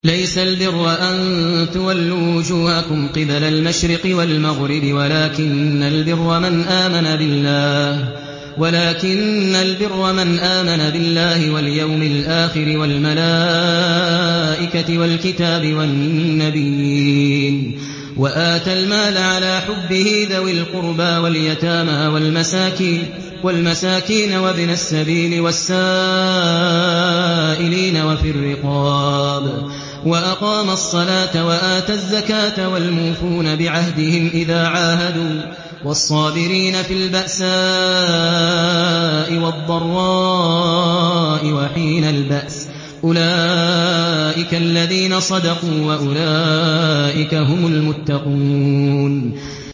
۞ لَّيْسَ الْبِرَّ أَن تُوَلُّوا وُجُوهَكُمْ قِبَلَ الْمَشْرِقِ وَالْمَغْرِبِ وَلَٰكِنَّ الْبِرَّ مَنْ آمَنَ بِاللَّهِ وَالْيَوْمِ الْآخِرِ وَالْمَلَائِكَةِ وَالْكِتَابِ وَالنَّبِيِّينَ وَآتَى الْمَالَ عَلَىٰ حُبِّهِ ذَوِي الْقُرْبَىٰ وَالْيَتَامَىٰ وَالْمَسَاكِينَ وَابْنَ السَّبِيلِ وَالسَّائِلِينَ وَفِي الرِّقَابِ وَأَقَامَ الصَّلَاةَ وَآتَى الزَّكَاةَ وَالْمُوفُونَ بِعَهْدِهِمْ إِذَا عَاهَدُوا ۖ وَالصَّابِرِينَ فِي الْبَأْسَاءِ وَالضَّرَّاءِ وَحِينَ الْبَأْسِ ۗ أُولَٰئِكَ الَّذِينَ صَدَقُوا ۖ وَأُولَٰئِكَ هُمُ الْمُتَّقُونَ